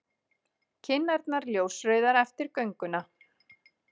Kinnarnar ljósrauðar eftir gönguna.